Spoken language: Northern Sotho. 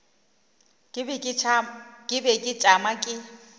ke be ke tšama ke